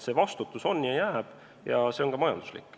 See vastutus on ja jääb, ja see on ka majanduslik.